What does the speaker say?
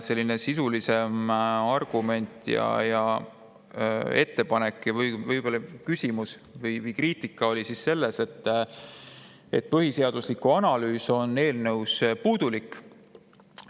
Selline sisulisem argument ja ettepanek või kriitika oli selles, et põhiseaduslikkuse analüüs on eelnõus puudulik.